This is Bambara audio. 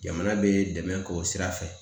Jamana bɛ dɛmɛ k'o sira fɛ